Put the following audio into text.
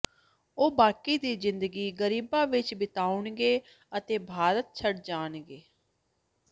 ਉਹ ਬਾਕੀ ਦੀ ਜ਼ਿੰਦਗੀ ਗਰੀਬਾਂ ਵਿਚ ਬਿਤਾਉਣਗੇ ਅਤੇ ਭਾਰਤ ਛੱਡ ਜਾਣਗੇ